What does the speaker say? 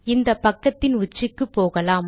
இந்த பக்கத்தின் உச்சிக்கு போகலாம்